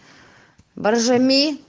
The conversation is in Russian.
баржами